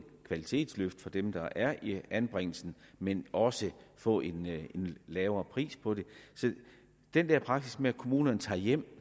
kvalitetsløft for dem der er i anbringelsen men også få en lavere pris på det så den der praksis med at kommunerne tager det hjem